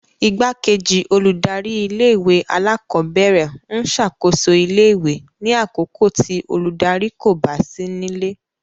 Igbakeji oludari-ìlé-ìwé-àlàkọbẹrẹ ń ṣakoso ìlé-ìwé ni àkókó ti oludari ko ba si nile